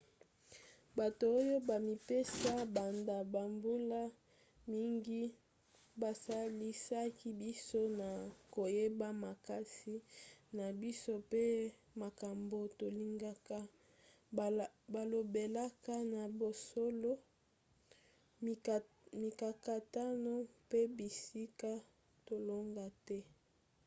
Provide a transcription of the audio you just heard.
bato oyo bamipesa banda bambula mingi basalisaki biso na koyeba makasi na biso mpe makambo tolingaka balobelaka na bosolo mikakatano mpe bisika tolonga te